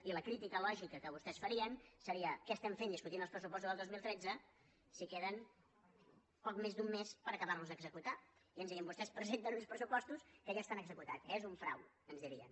i la crítica lògica que vostès farien seria què estem fent discutint els pressupostos del dos mil tretze si queda poc més d’un mes per acabar los d’executar i ens dirien vostès presenten uns pressupostos que ja estan executats és un frau ens dirien